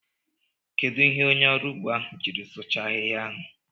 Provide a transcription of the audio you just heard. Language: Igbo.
Kedụ ihe onye ọrụ ugbo ahụ jiri sụchaa ahịhịa ahụ?